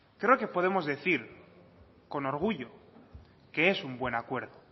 creo que podemos decir con orgullo que es un buen acuerdo